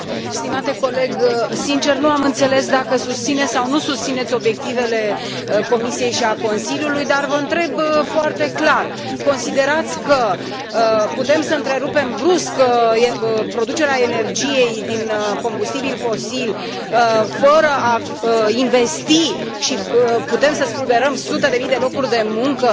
Stimate coleg, sinceră să fiu nu am înțeles dacă susțineți sau nu susțineți obiectivele Comisiei și ale Consiliului, dar vă întreb foarte clar considerați că putem să întrerupem brusc producerea energiei din combustibili fosili fără a investi și că putem să spulberăm sute de mii de locuri de muncă